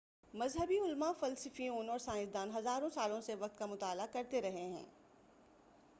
مذہبی علماء فلسفیوں اور سائنسدان ہزاروں سالوں سے وقت کا مطالعہ کرتے رہے ہیں